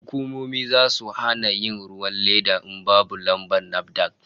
Hukumomi zasu hana yin ruwan leda in babu lambar NAFDAC